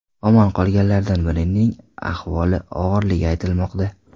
Omon qolganlardan birining ahvoli og‘irligi aytilmoqda.